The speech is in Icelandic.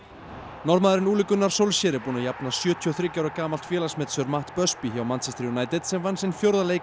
Norðmaður Ole Gunnar Solskjær er búinn að jafna sjötíu og þrjú gamalt félagsmet Sir Matt hjá Manchester United sem vann sinn fjórða leik